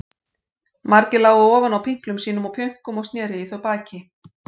Margir lágu ofan á pinklum sínum og pjönkum og sneru í þau baki.